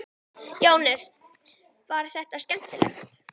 Jóhannes: Var þetta skemmtilegt?